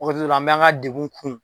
O ko sugu la, an bɛ an ka degun kun.